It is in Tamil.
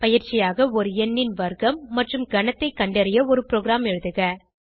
பயிற்சியாக ஒரு எண்ணின் வர்க்கம் மற்றும் கனத்தைக் கண்டறிய ஒரு ப்ரோகிராம் எழுதுக